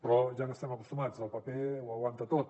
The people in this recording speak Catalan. però ja hi estem acostumats el paper ho aguanta tot